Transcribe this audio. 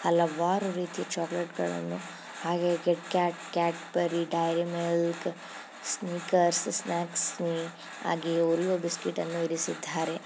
ಹಲವಾರು ರೀತಿಯ ಚಾಕಲೇಟಗಳನ್ನು ಹಾಗೆ KitKat Cadbury dairy milk Snickers snacks ಮೀ ಹಾಗೆಯೇ ಓರಿಯೋ ಬಿಸ್ಕೆಟ್ ಅನ್ನು ಇರಿಸಿದ್ದಾರೆ.